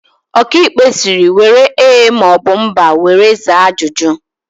Ọkaikpe sịrị, " were ee maọbụ mba were zaa ajụjụ"!